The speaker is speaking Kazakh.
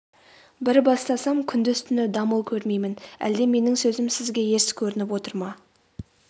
бір бастасам күндіз-түні дамыл көрмеймін әлде менің сөзім сізге ерсі көрініп отыр ма